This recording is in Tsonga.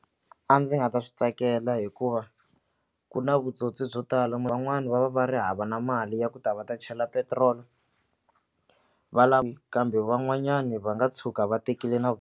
A ndzi nga ta swi tsakela hikuva ku na vutsotsi byo tala van'wani va va va ri hava na mali ya ku ta va ta chela petrol va kambe van'wanyana va nga tshuka va tekile na.